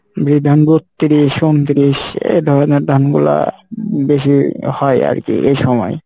বিধান বত্তিরিশ, উনতিরিশ এ ধরনের ধান গুলা বেশি হয় আরকি এ সময়।